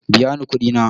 Biya ni kuɗi na.